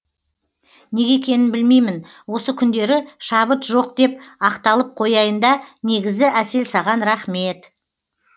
неге екенін білмеймін осы күндері шабыт жоқ деп ақталып қояйында негізі әсел саған рақмеет